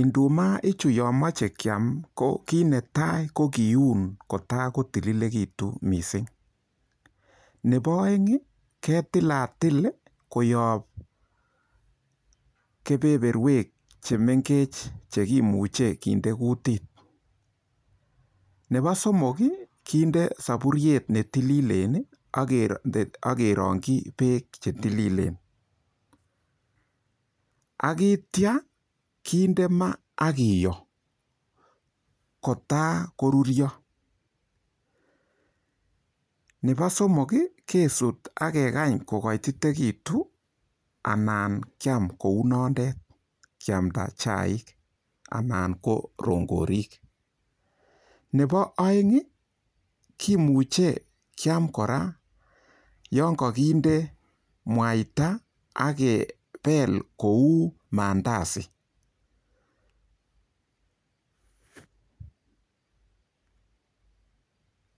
indumaichu yemoche kiam ko kiit netai ko keun kotakotilekitu missing nebo oeng ketilatil koyop kebeberwek chemengech cheimuche kinde kutit nebo somok kinde sapuriet netililen ake rongchi beek che tililen akitya kinde ma akiyo kotar korurio nebo somok kesut akekany kokoitetigitu anan kiam kou nondet kiamta chaik anan ko rongorik nebo oeing kemuche kiam kora yon kakinde mwaita akebel kou mandasi.